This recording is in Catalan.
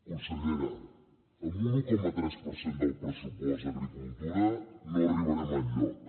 consellera amb un un coma tres per cent del pressupost a agricultura no arribarem enlloc